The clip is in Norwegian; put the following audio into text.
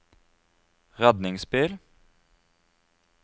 redningsbil